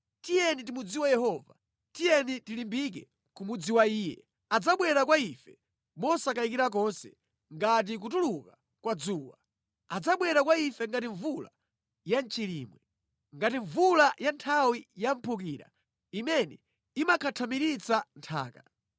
Tiyeni timudziwe Yehova, tiyeni tilimbike kumudziwa Iye. Adzabwera kwa ife mosakayikira konse ngati kutuluka kwa dzuwa; adzabwera kwa ife ngati mvula ya mʼchilimwe, ngati mvula ya nthawi yamphukira imene imakhathamiritsa nthaka.”